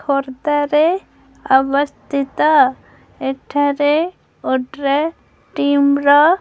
ଖୋର୍ଦ୍ଧା ରେ ଅବସ୍ତିତ ଏଠା ରେ ଓଡ୍ରେ ଟିମ୍ ର --